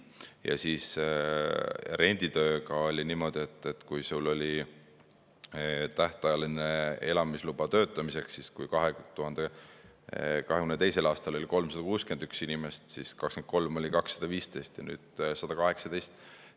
Ja renditööga oli niimoodi, et tähtajalise elamisloaga töötamiseks 2022. aastal 361 inimest, 2023. aastal 215 ja nüüd 118.